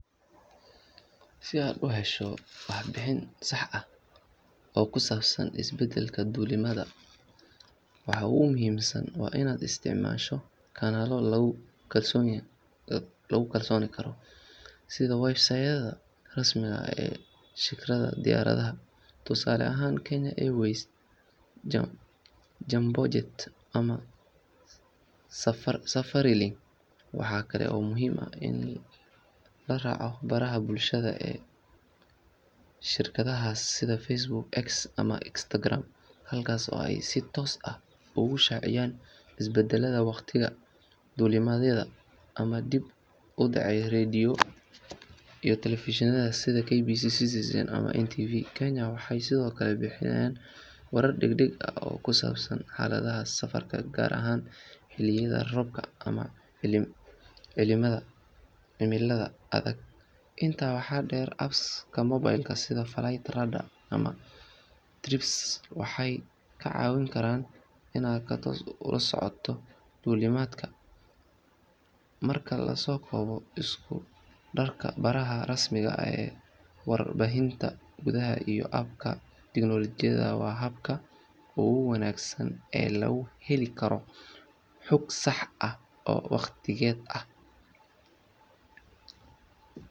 Si aad u hesho warbixin sax ah oo ku saabsan isbeddelka duulimaadyada, waxa ugu muhiimsan waa inaad isticmaasho kanaalo lagu kalsoonaan karo sida website-yada rasmiga ah ee shirkadaha diyaaradaha, tusaale ahaan Kenya Airways, Jambojet ama Safarilink. Waxa kale oo muhiim ah in la raaco baraha bulshada ee shirkadahaas sida Facebook, X ama Instagram halkaas oo ay si toos ah ugu shaaciyaan isbeddellada waqtiga duulimaadyada ama dib u dhacyada. Radio iyo telefishinada sida KBC, Citizen TV ama NTV Kenya waxay sidoo kale bixiyaan warar degdeg ah oo ku saabsan xaaladaha safarka gaar ahaan xilliyada roobabka ama cimilada adag. Intaa waxaa dheer, apps-ka mobile sida FlightRadar ama TripIt waxay kaa caawin karaan inaad si toos ah u la socoto duulimaadkaaga. Marka la soo koobo, isku darka baraha rasmiga ah, warbaahinta gudaha iyo apps-ka tiknoolajiyada waa habka ugu wanaagsan ee lagu heli karo xog sax ah oo waqtigeeda ah.